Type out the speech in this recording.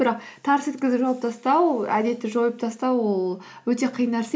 бірақ тарс еткізіп жауып тастау әдетті жойып тастау ол өте қиын нәрсе